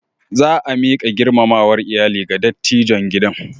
Za a miƙa girmamawar iyali ga dattijon gidan.